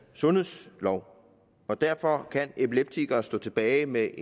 sundhedsloven og derfor kan epileptikere stå tilbage med